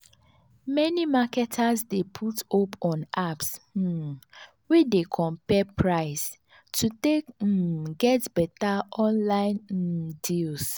many marketers dey put hope on apps um wey dey compare price to take um get better online um deals